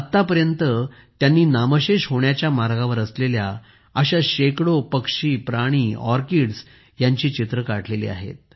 आतापर्यंत त्यांनी नामशेष होण्याच्या मार्गावर असलेल्या अशा शेकडो पक्षी प्राणी ऑर्किड्स यांची चित्रे काढली आहेत